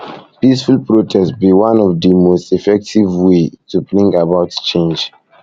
peaceful protest be di one of di most effective most effective ways to bring about change